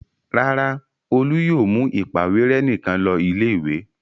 Rárá, Olú yóò mú ìpàwérẹ́ nìkan lọ ilé-ìwé.